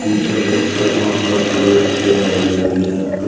ये अभी तक नंबर प्लेट भी नहीं लगी है।